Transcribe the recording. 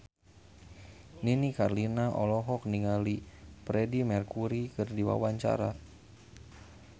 Nini Carlina olohok ningali Freedie Mercury keur diwawancara